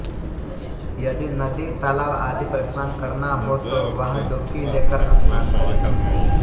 यदि नदी तालाब आदि पर स्नान करना हो तो वहाँ डुबकी लेकर स्नान करें